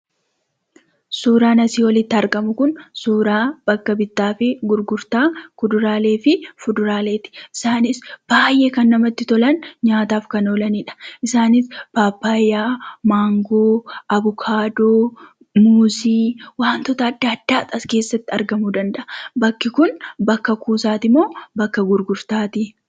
Suuraan asii olitti argamu kun suuraa bakka gurgurtaa kuduraalee fi fuduraaleeti. Isaanis baay'ee kan namatti tolan, nyaataaf kan oolaniidha. Isaanis: paappayyaa, mangoo, avokaadoo, muuzii, wantoota addaa addaatu as keessatti argamuu danda'a. Bakki kun bakka kuusaati moo bakka gurgurtaati?